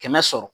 Kɛmɛ sɔrɔ